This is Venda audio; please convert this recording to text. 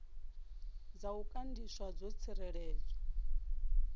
dza u gandiswa dzo tsireledzwa